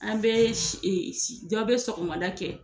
An be dɔ be sɔgɔmada kɛ